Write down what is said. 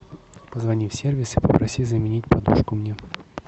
позвони в сервис и попроси заменить подушку мне